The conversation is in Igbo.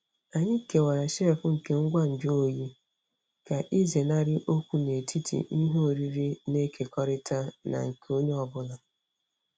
Anyị kewara shelf nke ngwa nju oyi ka ịzenarị okwu n'etiti ihe oriri na-ekekọrịta na nke onye ọ bụla.